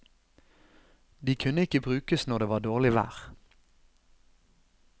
De kunne ikke brukes når det var dårlig vær.